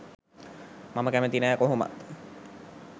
මම කැමති නැ කොහොමත්.